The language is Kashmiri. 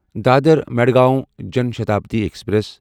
دادر مدغاوں جان شتابدی ایکسپریس